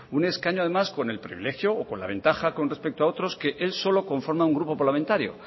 un escaño además con el privilegio o con la ventaja con respecto a otros que él solo conforma un grupo parlamentario